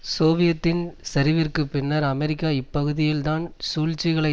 சோவியத்தின் சரிவிற்குப் பின்னர் அமெரிக்கா இப்பகுதியில் தான் சூழ்ச்சிகளை